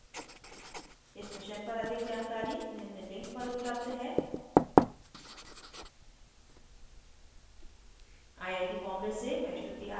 इस मिशन पर अधिक जानकरी निम्न लिंक पर उपलब्ध है